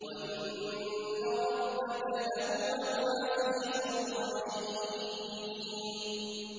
وَإِنَّ رَبَّكَ لَهُوَ الْعَزِيزُ الرَّحِيمُ